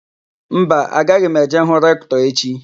Mba, agaghị m eje hụ Rektọ echi.